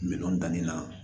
Miliyɔn danni na